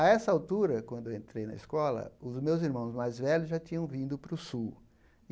A essa altura, quando eu entrei na escola, os meus irmãos mais velhos já tinham vindo para o Sul.